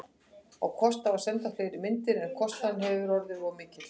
Á kost á að senda fleiri myndir, en kostnaðurinn hefði orðið of mikill.